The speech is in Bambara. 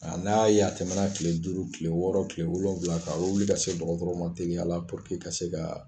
A n'a y'a ye a tɛmɛna tile duuru tile wɔɔrɔ tile wolonfila kan wuli ka se dɔgɔtɔrɔw ma teliya la ka se ka